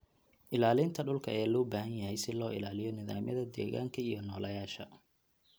Ilaalinta dhulka ayaa loo baahan yahay si loo ilaaliyo nidaamyada deegaanka iyo nooleyaasha.